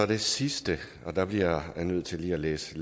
det sidste og der bliver jeg nødt til lige at læse